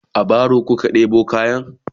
a baro kuka ɗebo kayan?